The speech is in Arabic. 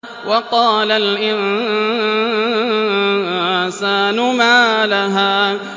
وَقَالَ الْإِنسَانُ مَا لَهَا